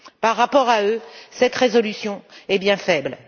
Par rapport à eux, cette résolution est bien faible.